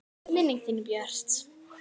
Minning þín er björt.